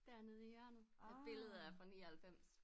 Dernede i hjørnet at billedet er fra 99